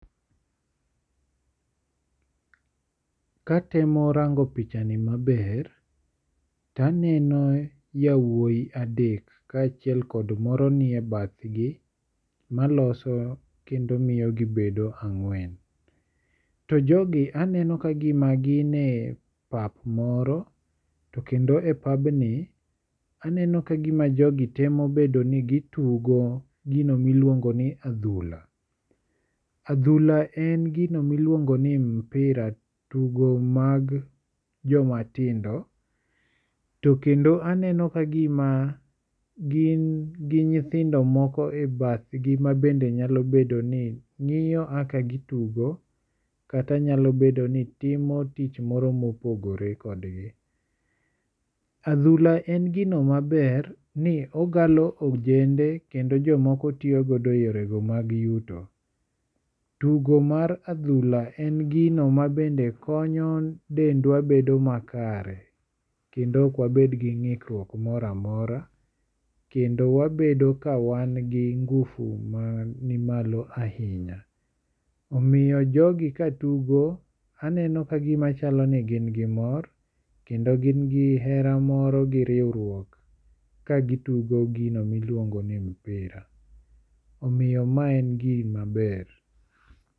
Ka atemo rango pichani maber, to aneno yawuoyi adek, ka chiel kod moro nie bathgi, maloso kendo miyo gibedo ang'wen. To jogi aneno ka gima gin e pap moro. To kendo e papni aneno ka gima jogi temo bedo ni gitugo gino ma iluongo ni adhula. Adhula en gino miluongo ni mpira, tugo mag jomatindo. To kendo aneno ka gima gin gi nyithindo moko e bathgi ma bende nyalo bedo ni ng'iyo kaka gituko, kata nyalo bedo ni timo tich moro pomorogore kodgi. Adhula en gino maber ni ogalo ojende kendo jomoko tiyo go e yore go mag yuto. Tugo mar adhula en gino ma bende konyo dendwa bedo makare. Kendo ok wabed gi ngikruok moro amora. Kendo wabedo ka wan gi [csnguvu mani malo ahinya. Omiyo jogi ka tugo aneno ka gima chalo ni gin gi mor. Kendo gin gi hera moro gi riwruok, ka gitugo gino ma iluongo ni mpira. Omiyo mae en gima ber.